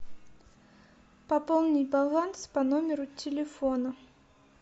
пополни баланс по номеру телефона